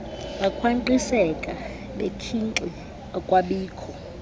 bakhwankqiseka bekhinxi akwabikho